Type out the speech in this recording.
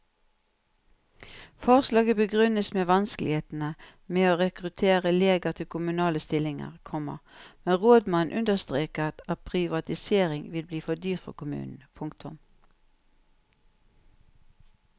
Forslaget begrunnes med vanskelighetene med å rekruttere leger til kommunale stillinger, komma men rådmannen understreker at privatisering vil bli dyrt for kommunen. punktum